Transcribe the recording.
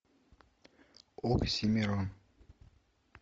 оксимерон